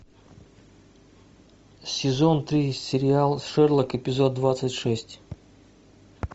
сезон три сериал шерлок эпизод двадцать шесть